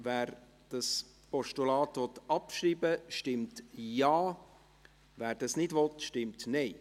Wer das Postulat abschreiben will, stimmt Ja, wer dies nicht will, stimmt Nein.